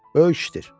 Böyük işdir.